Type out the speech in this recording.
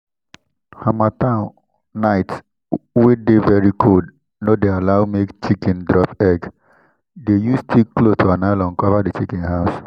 harmattan night wey dey very cold no dey allow make chiken drop egg—dey use thick cloth or nylon conver the chiken house.